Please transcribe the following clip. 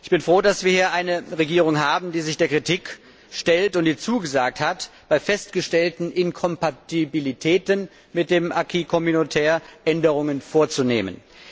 Ich bin froh, dass wir hier eine Regierung haben, die sich der Kritik stellt und die zugesagt hat, bei festgestellten Inkompatibilitäten mit dem acquis communautaire Änderungen vorzunehmen.